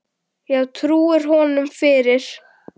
Já, trúir hún honum fyrir.